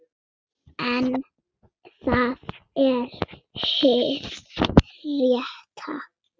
Flytur tríóið tónlist eftir Ludvig.